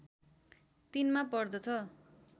३ मा पर्दछ